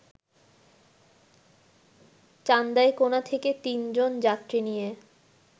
চান্দাইকোনা থেকে তিনজন যাত্রী নিয়ে